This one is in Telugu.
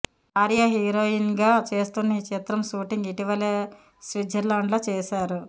ఆర్య హీరోయిన్గా చేస్తున్న ఈ చిత్రం షూటింగ్ ఇటీవలే స్విట్జర్లాండ్లో చేశారు